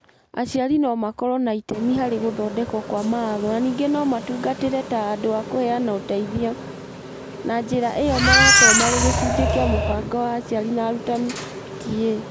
Aciari no makorwo na itemi harĩ gũthondekwo kwa mawatho na ningĩ no matungatĩre ta andũ a kũheana ũteithio, na njĩra ĩyo magakorwo marĩ gĩcunjĩ kĩa Mũbango wa Aciari na Arutani (PTA).